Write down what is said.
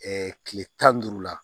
kile tan ni duuru la